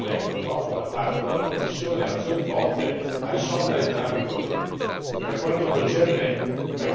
Dunque, c'è da aspettarsi ma così non è purtroppo da parte della Commissione azioni volte a risolvere entrambi i problemi.